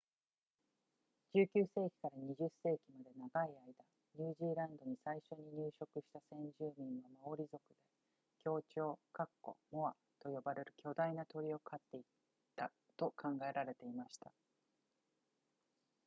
19世紀から20世紀まで長い間ニュージーランドに最初に入植した先住民はマオリ族で恐鳥モアと呼ばれる巨大な鳥を狩っていたと考えられていました